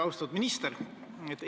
Austatud minister!